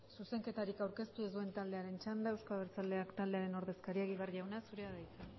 zuzenketarik aurkeztu ez duen taldearen txanda euzko abertzaleak taldearen ordezkaria egibar jauna zurea da hitza